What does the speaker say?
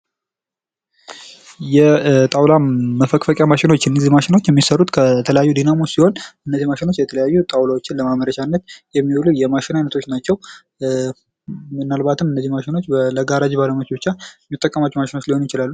የጣውላ መፈቅፈቂያ ማሽኖች እነዚህ ማሽኖች የሚሰሩት ከዲናሞ ሲሆን እነዚህ ማሽኖች የተለያዩ ጣውላዎችን ለማምረት የሚውሉ የማሽን አይነቶች ናቸው። ምናልባትም እነዚህ ማሽኖች የጋራጅ ባለሙያዎች ብቻ የሚጠቀሟቸው ሊሆኑ ይችላሉ።